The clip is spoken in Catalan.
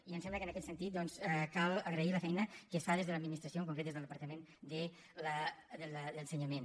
i em sembla que en aquest sentit doncs cal agrair la feina que es fa des de l’administració en concret des del departament d’ensenyament